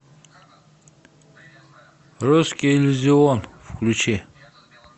русский иллюзион включи